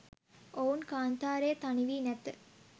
ඔවුන් කාන්තාරයේ තනි වී නැත